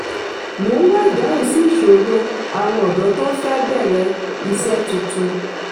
mo ń wá ìdáhùn sí ìṣòro àwọn ọdọ tó fẹ̀ bẹ̀rẹ̀ isẹ́ tuntun.